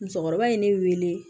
Musokɔrɔba ye ne wele